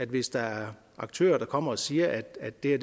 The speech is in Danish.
hvis der er aktører der kommer og siger at det